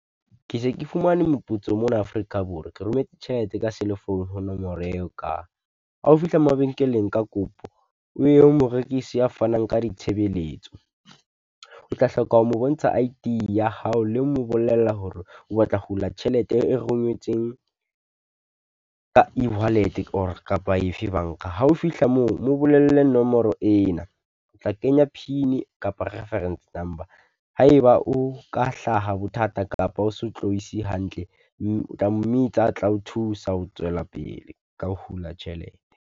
Ke se ke fumane moputso mona Afrika Borwa. Ke rometse tjhelete ka cell-e phone ho nomoro eo ka, ha o fihla mabenkeleng ka kopo o ye ho morekisi ya fanang ka ditshebeletso. O tla hloka ho mo bontsha I_D ya hao le ho mo bolella hore o batla ho hula tjhelete e rongwetsweng ka e-wallet-e or kapa efe banka. Ha o fihla moo, mo bolelle nomoro ena, o tla kenya PIN-i kapa reference number, ha e ba o ka hlaha bothata kapa o so tlohise hantle, o tla mmitsa a tla ho thusa ho tswela pele ka ho hula tjhelete.